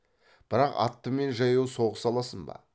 бірақ атты мен жаяу соғыса алсын ба